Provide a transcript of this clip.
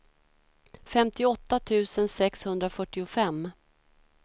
femtioåtta tusen sexhundrafyrtiofem